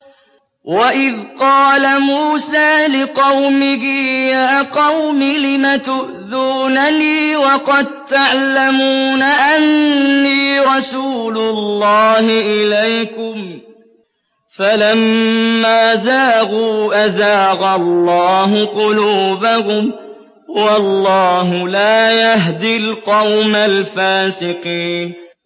وَإِذْ قَالَ مُوسَىٰ لِقَوْمِهِ يَا قَوْمِ لِمَ تُؤْذُونَنِي وَقَد تَّعْلَمُونَ أَنِّي رَسُولُ اللَّهِ إِلَيْكُمْ ۖ فَلَمَّا زَاغُوا أَزَاغَ اللَّهُ قُلُوبَهُمْ ۚ وَاللَّهُ لَا يَهْدِي الْقَوْمَ الْفَاسِقِينَ